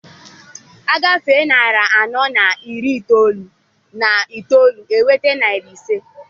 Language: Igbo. Agafee narị anọ na iri itoolu na itoolu, e nweta narị ise.